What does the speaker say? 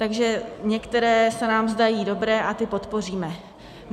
Takže některé se nám zdají dobré a ty podpoříme.